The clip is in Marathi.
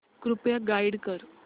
कृपया गाईड कर